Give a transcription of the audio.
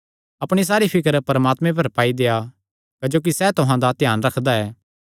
अपणी सारी फिकर परमात्मे पर पाई देआ क्जोकि सैह़ तुहां दा ध्यान रखदा ऐ